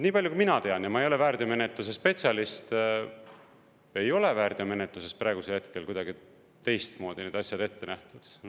Nii palju, kui mina tean, ja ma ei ole väärteomenetluse spetsialist, ei ole väärteomenetluses praegusel hetkel kuidagi teistmoodi need asjad ette nähtud.